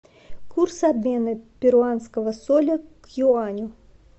курс обмена перуанского соля к юаню